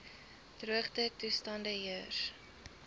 droogte toestande heers